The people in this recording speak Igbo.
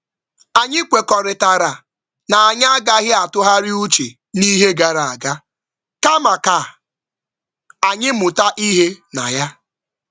Anyị kwekọrịtara na anyị agaghị atụgharị uche n'ihe gara aga, kama ka anyị mụta ihe na ya.